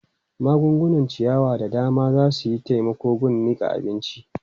Magungunan ciyawa da dama za su yi taimako gun niƙa abinci.